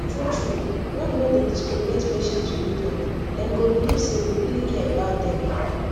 true true when we no dey discriminate patient religion dem go believe say we really care about dem